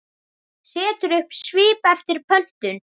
Setur upp svip eftir pöntun.